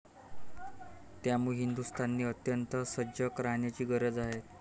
त्यामुळे हिंदुस्थानने अत्यंत सजग राहण्याची गरज आहे.